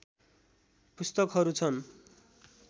पुस्तकहरू छन्।